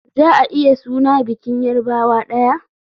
Za a iya suna bikin yarbawa daya.